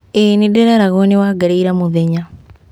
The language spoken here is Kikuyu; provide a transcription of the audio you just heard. ĩĩ nĩndĩreragwoo nĩ wangarĩ ira mũthenya